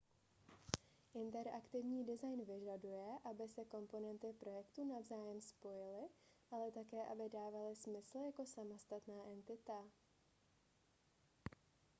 interaktivní design vyžaduje aby se komponenty projektu navzájem spojily ale také aby dávaly smysl jako samostatná entita